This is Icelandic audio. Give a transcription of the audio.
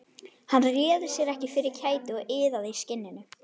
Hann réði sér ekki fyrir kæti og iðaði í skinninu.